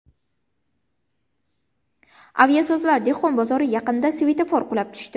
Aviasozlar dehqon bozori yaqinida svetofor qulab tushdi.